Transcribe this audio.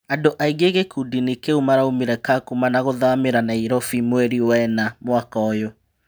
Andũ aingĩ gĩ kundinĩ kĩ u maũmire Kakuma na gũthamĩ ra Nairobi mweri wena mwaka ũyù